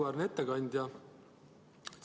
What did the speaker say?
Auväärne ettekandja!